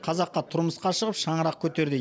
қазаққа тұрмысқа шығып шаңырақ көтерді